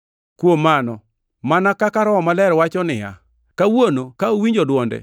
Kuom mano, mana kaka Roho Maler wacho niya, “Kawuono ka uwinjo dwonde,